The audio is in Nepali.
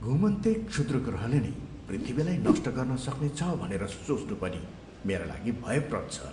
घुमन्ते क्षुद्रग्रहले नै पृथ्वीलाई नष्ट गर्न सक्नेछ भनेर सोच्नु पनि मेरा लागि भयप्रद छ।